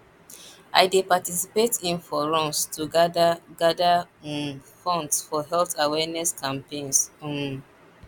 i dey participate in fun runs to gather gather um funds for health awareness campaigns um